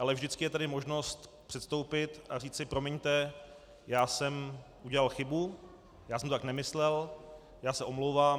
Ale vždycky je tady možnost předstoupit a říci: Promiňte, já jsem udělal chybu, já jsem to tak nemyslel, já se omlouvám.